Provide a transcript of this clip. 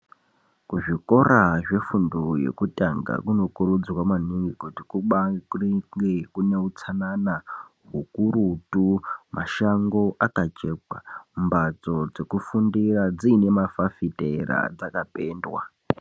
Kuzvikora zvefundo yekutanga kunokurudzirwa maningi kuti kubaange kune utsanana hukurutu mashango akacheka mbatso dzekufundira dziine mafafitera dzakapendwa.